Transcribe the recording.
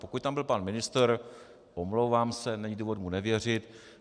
Pokud tam byl pan ministr, omlouvám se, není důvodu mu nevěřit.